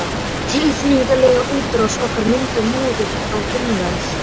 Hin tilfinningalega útrás okkar myndar móðu á innanverð